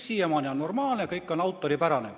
" Siiamaani on kõik normaalne, kõik on autoripärane.